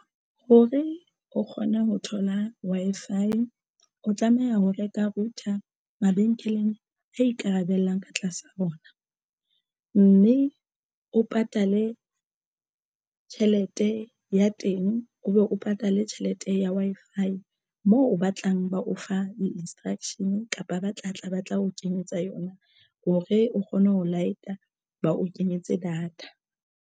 Hore o kgone ho thola Wi-Fi o tlameha ho reka router mabenkeleng a ikarabellang ka tlasa rona mme o patale tjhelete ya teng o be o patale tjhelete ya Wi-Fi moo ba tlang ba o fa di instruction kapa ba tlatla ba tla o kenyetsa yona hore o kgone ho light-a ba o kenyetse data.